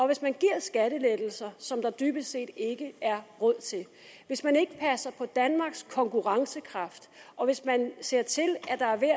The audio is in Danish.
hvis man giver skattelettelser som der dybest set ikke er råd til hvis man ikke passer på danmarks konkurrencekraft og hvis man ser til